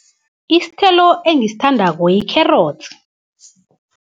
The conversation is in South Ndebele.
Isthelo engisthandako yikherotsi.